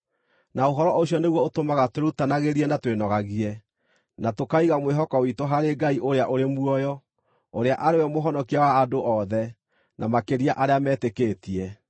(na ũhoro ũcio nĩguo ũtũmaga twĩrutanagĩrie na twĩnogagie), na tũkaiga mwĩhoko witũ harĩ Ngai ũrĩa ũrĩ muoyo, ũrĩa arĩ we Mũhonokia wa andũ othe, na makĩria arĩa metĩkĩtie.